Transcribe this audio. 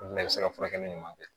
Olu bɛɛ bɛ se ka furakɛli ɲuman kɛ